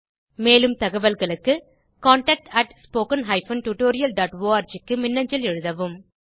மேலும் தகவல்களுக்கு contactspoken tutorialorg க்கு மின்னஞ்சல் எழுதவும்